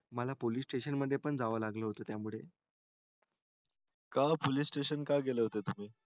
मला police station मध्ये जावं लागलं होत त्या मुळे काहो police station का गेले होतेय तुम्ही